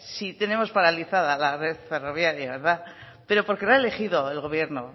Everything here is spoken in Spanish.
si tenemos paralizada la red ferroviaria verdad porque la ha elegido el gobierno